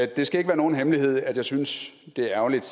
det skal ikke være nogen hemmelighed at jeg synes det er ærgerligt